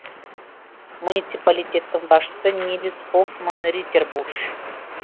муниципалитеттің басшысы нильс хоффман риттербуш